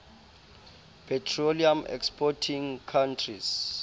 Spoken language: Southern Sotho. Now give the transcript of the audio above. petroleum exporting countries